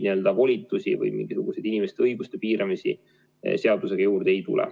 Volitusi mingisuguseid inimeste õigusi piirata selle seadusega juurde ei tule.